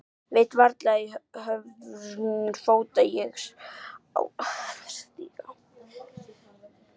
Veit varla í hvorn fótinn ég á að stíga.